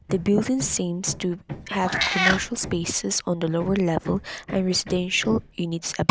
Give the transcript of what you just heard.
the building seems to have commercial spaces on the lower level and residential units above.